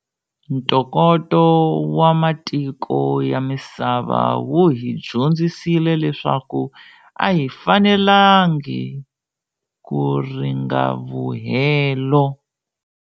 Ntokoto wa matiko ya misava wu hi dyondzisile leswaku a hi fanelangi ku ringavuhelo.